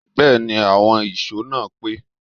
Bẹ́ẹ̀ni, àwọn ìṣó náà pé